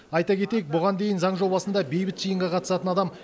айта кетейік бұған дейін заң жобасында бейбіт жиынға қатысатын адам